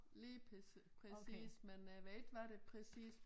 Lige præcis men øh jeg ved ikke hvad det præcis